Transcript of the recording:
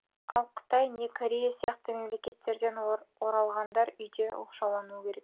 ал қытай не корея сияқты мемлекеттерден оралғандар үйде оқшаулануы керек